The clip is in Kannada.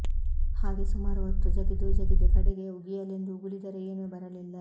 ಹಾಗೆ ಸುಮಾರು ಹೊತ್ತು ಜಗಿದೂ ಜಗಿದೂ ಕಡೆಗೆ ಉಗಿಯಲೆಂದು ಉಗುಳಿದರೆ ಏನೂ ಬರಲಿಲ್ಲ